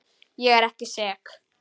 Ég er ekki sek.